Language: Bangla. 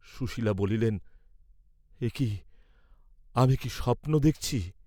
সুশীলা বলিলেন, "একি, আমি কি স্বপ্ন দেখছি?"